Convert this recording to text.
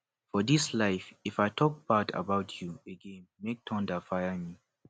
for this life if i talk bad about you againmake thunder fire me